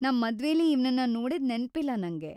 ನಮ್‌ ಮದ್ವೇಲಿ ಇವ್ನನ್ನ ನೋಡಿದ್ ನೆನ್ಪಿಲ್ಲ ನಂಗೆ.